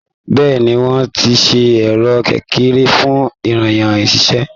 Bẹ́ẹ̀ni, wọ́n ti ṣe ẹ̀rọ kékeré fun iyán ṣíṣe.